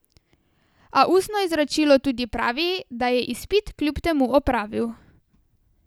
A ustno izročilo tudi pravi, da je izpit kljub temu opravil.